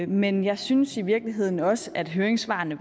men jeg synes i virkeligheden også at høringssvarene